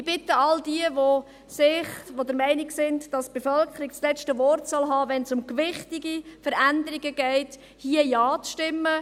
Ich bitte all diejenigen, die der Meinung sind, dass die Bevölkerung das letzte Wort haben soll, wenn es um gewichtige Veränderungen geht, hier Ja zu stimmen.